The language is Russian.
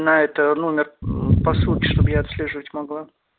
на это номер посылки чтоб я отслеживать могла